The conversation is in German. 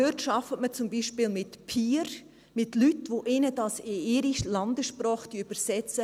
Dort arbeitet man zum Beispiel mit Peers, mit Leuten, die ihnen das in ihre Landessprache übersetzen.